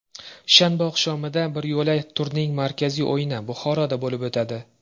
Shanba oqshomida biryo‘la turning markaziy o‘yini Buxoroda bo‘lib o‘tadi.